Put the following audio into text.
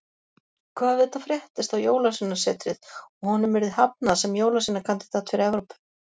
Hvað ef þetta fréttist á Jólasveinasetrið og honum yrði hafnað sem jólasveinakandídat fyrir Evrópu?